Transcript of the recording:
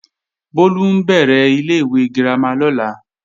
Bólú ń bẹ̀rẹ̀ ilé-ìwé girama lọ́la